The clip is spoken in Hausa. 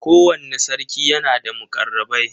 Kowanne sarki yana da muƙarrabai.